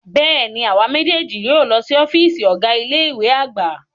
Bẹ́ẹ̀ni, awa mejeeji yóò lọ si ọfiisi Ọga ile-iwe agba